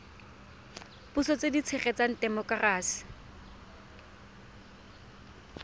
puso tse di tshegetsang temokerasi